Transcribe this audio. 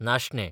नाशणें